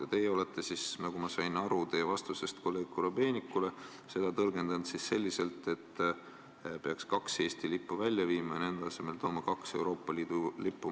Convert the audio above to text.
Ja teie olete siis, nagu ma sain aru teie vastusest kolleeg Korobeinikule, seda tõlgendanud selliselt, et peaks kaks Eesti lippu välja viima ja nende asemele tooma kaks Euroopa Liidu lippu.